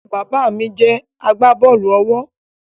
Bàbá mí jẹ agbábọ́ọ̀lù-ọwọ́